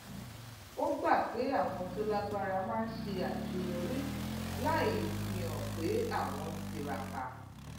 ó gbà pé àwọn tó lágbára máa ń ṣàṣeyọrí láì fihàn pé àwọn ń tiraka